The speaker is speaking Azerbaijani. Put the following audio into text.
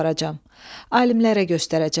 Alimlərə göstərəcəm.